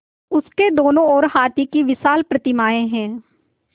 उसके दोनों ओर हाथी की विशाल प्रतिमाएँ हैं